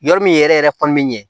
Yɔrɔ min yɛrɛ yɛrɛ kɔni bɛ ɲɛ